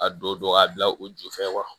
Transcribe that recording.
A don k'a bila o jufɛ wa